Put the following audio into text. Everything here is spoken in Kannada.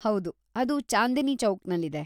ಹೌದು, ಅದು ಚಾಂದಿನಿ ಚೌಕ್‌ನಲ್ಲಿದೆ.